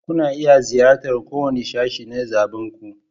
Kuna iya ziyartar kowane sashe na zaɓinku.